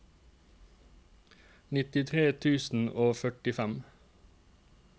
nittitre tusen og førtifem